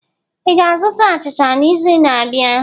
Ị ga-azụta achicha n'izu na-abịa?